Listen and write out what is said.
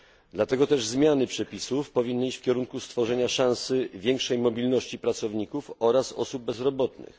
Dlatego też zmiany przepisów powinny iść w kierunku stworzenia szansy większej mobilności pracowników oraz osób bezrobotnych.